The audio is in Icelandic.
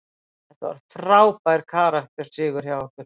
Þetta var frábær karakter sigur hjá okkur.